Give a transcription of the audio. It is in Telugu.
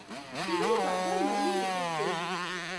చివరి పాట మళ్లీ రిపీట్ చేయి